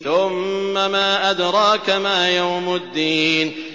ثُمَّ مَا أَدْرَاكَ مَا يَوْمُ الدِّينِ